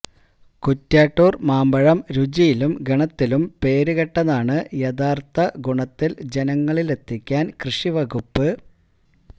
കുറ്റ്യാട്ടൂർ മാമ്പഴം രുചിയിലും ഗുണത്തിലും പേരുകേട്ടതാണ് യഥാർഥ ഗുണത്തിൽ ജനങ്ങളിലെത്തിക്കാൻ കൃഷിവകുപ്പ്